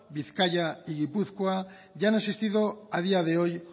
bizkaia y gipuzkoa y han asistido a día de hoy